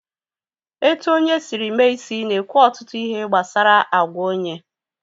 Etu onye Siri mee isi na-ekwu ọtụtụ ihe gbasara àgwà onye